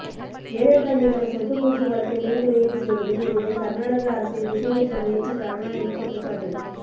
ஜெயலலிதா மீதான சொத்து குவிப்பு வழக்கை மேல்முறையீட்டு செய்வதில் இருந்து கர்நாடக அரசை திசை திருப்ப முயற்சி கருணாநிதி குற்றச்சாட்டு